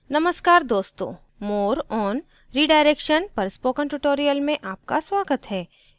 नमस्कार दोस्तों more on redirection पर spoken tutorial में आपका स्वागत है